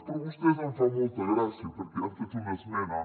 però vostès em fan molta gràcia perquè han fet una esmena